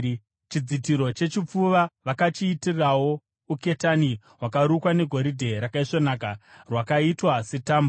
Chidzitiro chechipfuva vakachiitirawo uketani hwakarukwa negoridhe rakaisvonaka, rwakaita setambo.